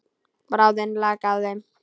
Bráðin lak af þeim.